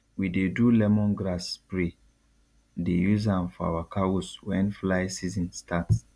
we dey do lemongrass spray dey use am for our cows wen fly season start